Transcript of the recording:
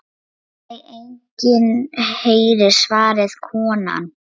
Nei enginn herra svaraði konan.